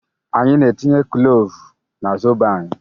Anyị na-etinye klovu n'zobo anyị